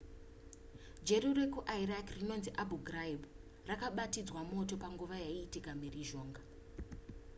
jeri rekuiraq rinonzi abu ghraib rakabatidzwa moto panguva yaiitika mhirizhonga